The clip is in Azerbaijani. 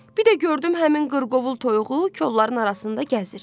Bir də gördüm həmin qırqovul toyuğu kolların arasında gəzir.